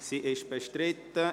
– Sie ist bestritten.